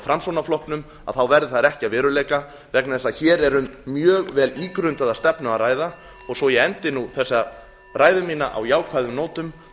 framsóknarflokknum þá verði þær ekki að veruleika vegna þess að hér er um mjög vel ígrundaða stefnu að ræða svo ég endi þessa ræðu mína á jákvæðum nótum